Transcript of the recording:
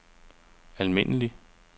almindelig